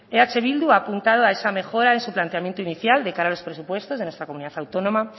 eh bildu ha apuntado a esa mejora en su planteamiento inicial de cara a los presupuestos de nuestra comunidad autónoma